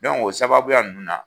Dɔnku o sababuya ninnu na